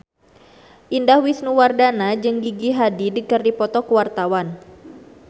Indah Wisnuwardana jeung Gigi Hadid keur dipoto ku wartawan